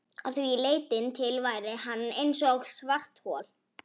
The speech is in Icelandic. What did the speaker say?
Að því leytinu til væri hann eins og svarthol.